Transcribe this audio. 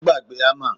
Ó gbàgbé hammer